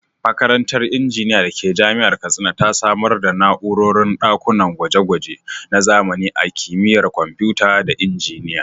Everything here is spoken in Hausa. Makarantar Injiniya da ke Jami’ar Katsina ta samar da na’urorin ɗakunan gwaje-gwaje na zamani na Kimiyyar Kwamfuta da Injiniya.